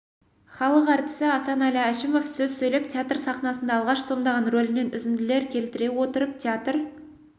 халық әртісі асанәлі әшімов сөз сөйлеп театр сахнасында алғаш сомдаған рөлінен үзінділер келтіре отырып театр